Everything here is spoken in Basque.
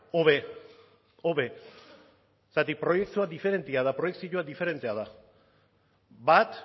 hobe hobe zergatik proiektua diferentea da proiekzioa diferentea da bat